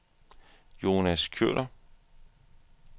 Jonas Kjøller